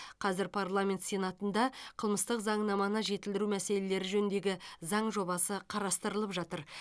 қазір парламент сенатында қылмыстық заңнаманы жетілдіру мәселелері жөніндегі заң жобасы қарастырылып жатыр